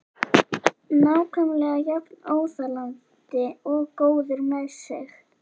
Nákvæmlega jafn óþolandi og góður með sig.